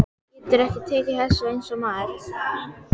Geturðu ekki tekið þessu eins og maður?